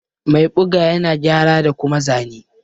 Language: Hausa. Mai ɓuga ƴana gƴara da kuma zane.